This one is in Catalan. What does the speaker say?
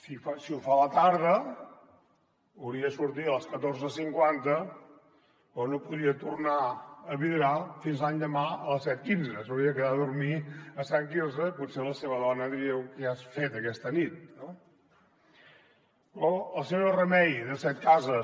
si ho fa a la tarda hauria de sortir a les catorze cinquanta però no podria tornar a vidrà fins l’endemà a les set cents i quinze s’hauria de quedar a dormir a sant quirze i potser la seva dona diria què has fet aquesta nit no o la senyora remei de setcases